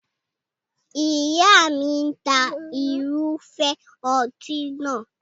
Ìyá mi ń ta irúfẹ́ ọtí nàá.